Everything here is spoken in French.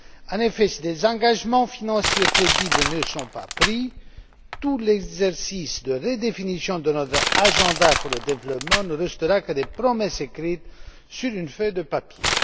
En effet, si des engagements financiers crédibles ne sont pas pris, tout l'exercice de redéfinition de notre agenda pour le développement ne restera que des promesses écrites sur une feuille de papier.